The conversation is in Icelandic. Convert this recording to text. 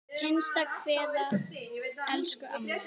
HINSTA KVEÐA Elsku amma.